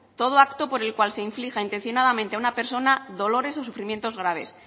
todo acto por el cual se inflija intencionadamente a una persona dolores o sufrimientos graves